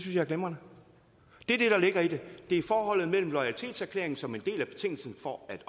jeg er glimrende det er det der ligger i det det er forholdet mellem loyalitetserklæringen som en del af betingelsen for at